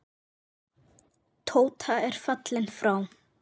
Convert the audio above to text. Tóta er fallin frá.